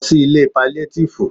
Lọ sí ilé paliatifu!